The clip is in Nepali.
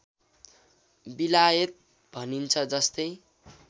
बिलायत भनिन्छ जस्तै